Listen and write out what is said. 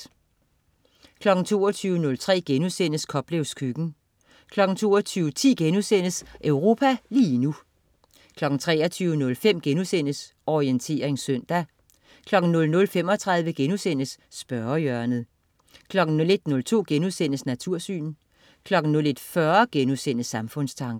22.03 Koplevs køkken* 22.10 Europa lige nu* 23.05 Orientering søndag* 00.35 Spørgehjørnet* 01.02 Natursyn* 01.40 Samfundstanker*